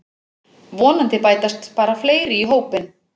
Vonandi bætast bara fleiri í hópinn